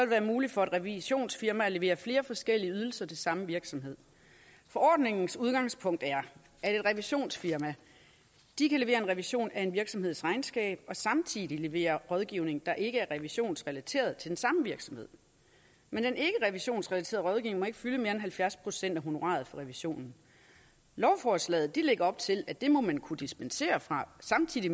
være muligt for et revisionsfirma at levere flere forskellige ydelser til samme virksomhed forordningens udgangspunkt er at et revisionsfirma kan levere en revision af en virksomheds regnskab og samtidig levere rådgivning der ikke er revisionsrelateret til den samme virksomhed men den ikkerevisionsrelaterede rådgivning fylde mere end halvfjerds procent af honoraret for revisionen lovforslaget lægger op til at det må man kunne dispensere fra og samtidig